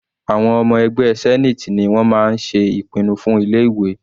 Àwọn ọmọ ẹgbẹ́ senate ni wọ́n máa ń ṣe ìpinnu fún ilé ìwé.